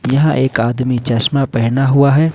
यहां एक आदमी चश्मा पहना हुआ है।